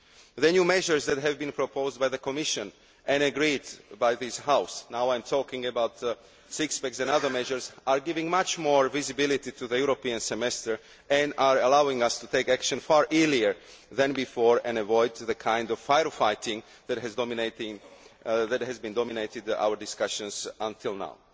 The new measures that have been proposed by the Commission and agreed by this House now I am talking about the six pack and other measures are giving much more visibility to the European Semester and are allowing us to take action far earlier than before and to avoid the kind of fire fighting that has dominated our discussions until now.